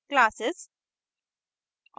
classes